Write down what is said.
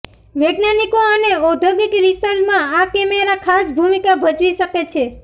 વૈજ્ઞાનિકો અને ઔદ્યોગિત રિસર્ચમાં આ કેમેરા ખાસ ભૂમિકા ભજવી શકે છે